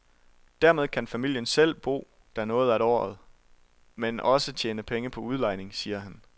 Dermed kan familien selv bo der noget af året, men også tjene penge på udlejning, siger han.